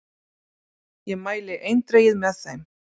Ég mæli eindregið með þeim.